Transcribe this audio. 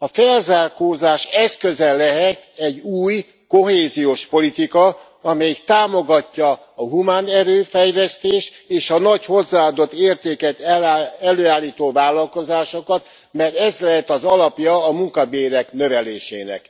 A felzárkózás eszköze lehet egy új kohéziós politika, amelyik támogatja a humánerő fejlesztést és a nagy hozzáadott értéket előállító vállalkozásokat, mert ez lehet az alapja a munkabérek növelésének.